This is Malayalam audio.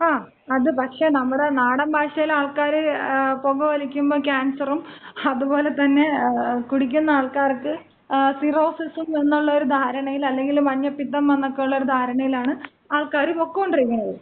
ങാ, അത് പക്ഷെ നമ്മുടെ നാടൻ ഭാഷയിലെ ആൾക്കാര് പൊക വലിക്കുമ്പ ക്യാൻസറും, അത്പോലെ തന്നെ കുടിക്കുന്ന ആൾക്കാർക്ക് സിറോസിസും എന്നുള്ള ഒരു ധാരണയിൽ അല്ലെങ്കില് മഞ്ഞപിത്തം എന്നൊക്കെയുള്ള ഒരു ധാരണയിലാണ് ആൾക്കാര് പൊക്കോണ്ടിരിക്കണത്.